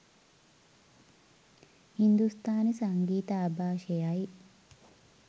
හින්දුස්ථානි සංගීත ආභාෂයයි.